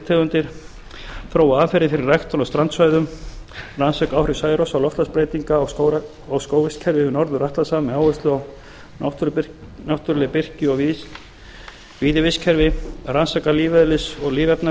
c þróa aðferðir fyrir ræktun á strandsvæðum þriðja rannsaka áhrif særoks og loftslagsbreytinga á skógarvistkerfi við norður atlantshaf með áherslu á náttúruleg birki og víðivistkerfi fjórða rannsaka lífeðlis